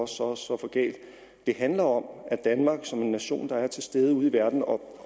så og så for galt det handler om at danmark som en nation der er til stede ude i verden og